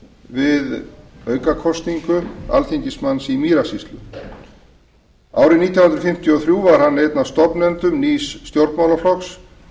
við aukakosningu alþingismanns í mýrasýslu árið nítján hundruð fimmtíu og þrjú var hann einn af stofnendum nýs stjórnmálaflokks